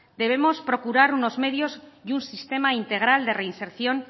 debemos procurar unos medios y un sistema integral de reinserción